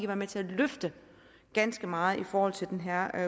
være med til at løfte ganske meget i forhold til den her